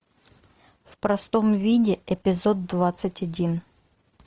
в простом виде эпизод двадцать один